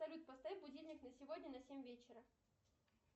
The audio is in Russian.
салют поставь будильник на сегодня на семь вечера